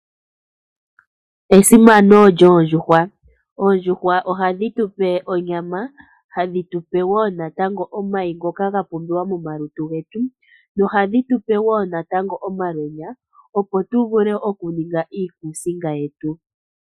Esimano lyoondjuhwa, oondjuhwa ohadhi tu pe onyama, hadhi tu pe woo natango omayi ngoka ga pumbiwa momalutu getu, nohadhi tu pe woo natango omalweenya opo tu vule okuninga iikusinga yetu.